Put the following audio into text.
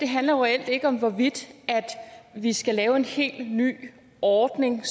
handler jo reelt ikke om hvorvidt vi skal lave en helt ny ordning